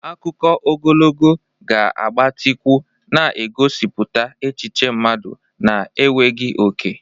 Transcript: Akụkọ ogologo ga-agbatịkwu, na-egosipụta echiche mmadụ na-enweghị oke.